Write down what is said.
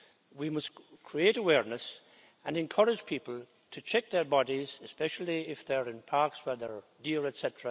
We must create awareness and encourage people to check their bodies, especially if they are in parks where there are deer, etc.,